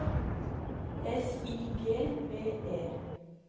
S I G V E